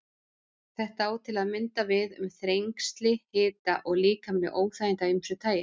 Þetta á til að mynda við um þrengsli, hita og líkamleg óþægindi af ýmsu tagi.